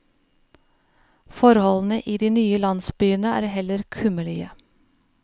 Forholdene i de nye landsbyene er heller kummerlige.